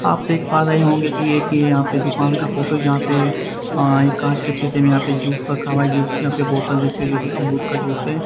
आप देख पा रहे होंगे कि एक ये यहां पे दुकान का फोटो जहां पे एक कांच के सिसे में यहां पे जूस रखा हुआ है जूस की यहां पे बोतल रखी है जो कि अमरूद का जूस है।